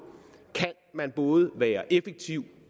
kan man både være effektiv